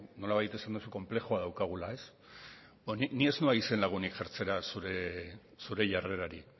nolabait esan duzu konplexua daukagula ni ez noa izenlagunik jartzera zure jarrerari